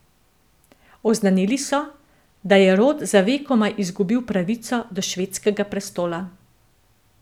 Oznanili so, da je rod za vekomaj izgubil pravico do švedskega prestola.